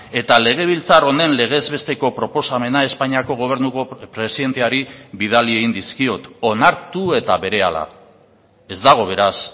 eta legebiltzar honen legez besteko proposamena espainiako gobernuko presidenteari bidali egin dizkiot onartu eta berehala ez dago beraz